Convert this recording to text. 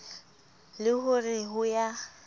le ho re ho ya